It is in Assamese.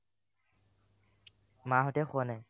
মাহঁতে খোৱা নাই